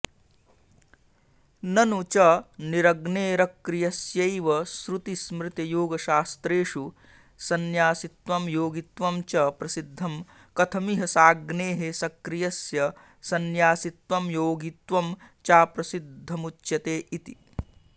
ननु च निरग्नेरक्रियस्यैवश्रुतिस्मृतियोगशास्रेषु संन्यासित्वं योगित्वं च प्रसिद्धं कथमिह साग्नेः सक्रियस्य संन्यासित्वं योगित्वं चाप्रसिद्धमुच्यते इति